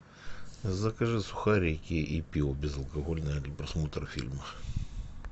закажи сухарики и пиво безалкогольное для просмотра фильма